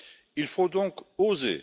Il faut donc oser.